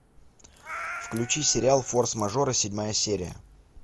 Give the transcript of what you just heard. включи сериал форс мажоры седьмая серия